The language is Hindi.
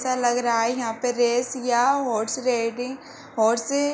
ऐसा लग रहा है यहाँ पे रेस या हॉर्स रेडिंग होर्से--